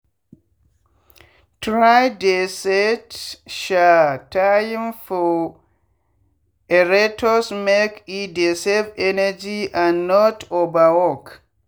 try dey set um time for aerators make e dey save energy and not overwork